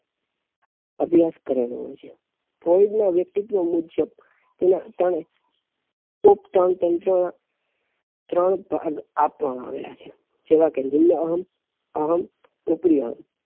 અભ્યાસ કરેલો હોઈ છે ફ્લોયડ ના વ્યક્તિત્વ મુજબ એનાં પ્રમાણે ત્રણ ભાગ આપવામાં આવેલા છે જેમાં નિલઅહં અહં ઉપરીઅહં